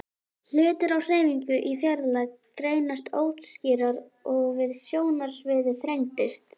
Hlutir á hreyfingu í fjarlægð greinast óskýrar og sjónsviðið þrengist.